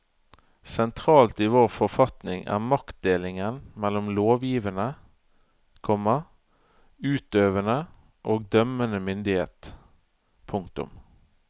Sentralt i vår forfatning er maktdelingen mellom lovgivende, komma utøvende og dømmende myndighet. punktum